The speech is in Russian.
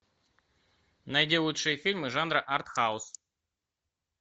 найди лучшие фильмы жанра артхаус